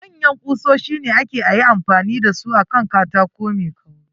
Manyan kusoshi ne kawai ake ayi amfani da su akan katako mai kauri.